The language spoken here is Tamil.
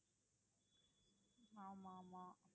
ஆமா ஆமா